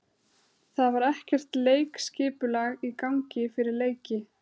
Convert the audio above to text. Það var ekkert leikskipulag í gangi fyrir leiki.